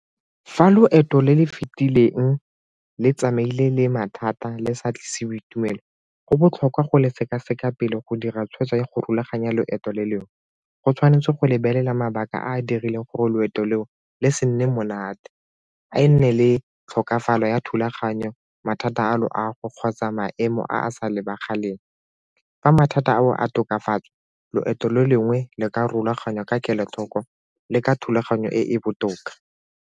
Fa loeto le le fitileng le tsamaile le mathata le sa tlise boitumelo, go botlhokwa go le sekaseka pele go dira tshwetso ya go rulaganya loeto le leo, go tshwanetse go lebelela mabaka a a dirileng gore loeto leo le se nne monate, a nne le tlhokafalo ya thulaganyo mathata a loago kgotsa maemo a a sa lebaganeng. Fa mathata ao a tokafatswa loeto le lengwe le ka rulaganya ka kelothoko le ka thulaganyo e e botoka.